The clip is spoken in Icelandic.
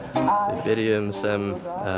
byrjuðum sem